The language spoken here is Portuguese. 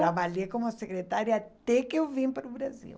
Trabalhei como secretária até que eu vim para o Brasil.